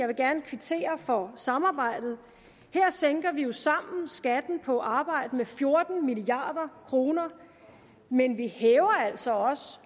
vil gerne kvittere for samarbejdet her sænker vi jo sammen skatten på arbejde med fjorten milliard kr men vi hæver altså også